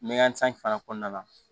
Mɛ san fana kɔnɔna la